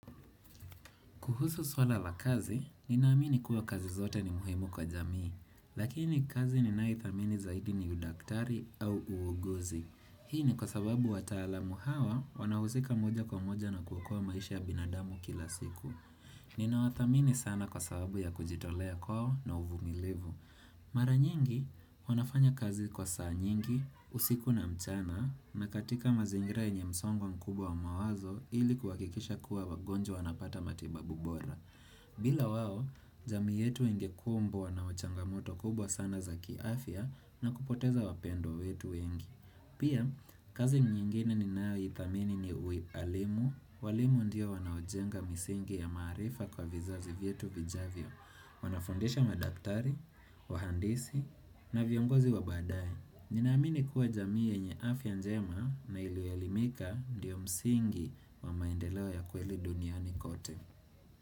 Kuhusu suala la kazi, ninaamini kuwa kazi zote ni muhimu kwa jamii, lakini kazi ninayoithamini zaidi ni udaktari au uuguzi. Hii ni kwa sababu wataalamu hawa wanahusika moja kwa moja na kuokoa maisha ya binadamu kila siku. Ninawathamini sana kwa sababu ya kujitolea kwao na uvumilivu. Mara nyingi, wanafanya kazi kwa saa nyingi, usiku na mchana, na katika mazingira yenye msongo mkubwa wa mawazo ili kuhakikisha kuwa wagonjwa wanapata matibabu bora. Bila wao, jamii yetu ingekumbwa na machangamoto kubwa sana za kiafya, na kupoteza wapendwa wetu wengi. Pia, kazi nyingine ninayoithamini ni uialimu, walimu ndio wanaojenga misingi ya maarifa kwa vizazi vyetu vijavyo. Wanafundisha madaktari, wahandisi na viongozi wa baadae. Ninaamini kuwa jamii yenye afya njema na iliyoelimika ndio msingi wa maendeleo ya kweli duniani kote.